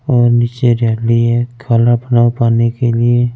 और नीचे रेम भी है खाना पीना खाने के लिए--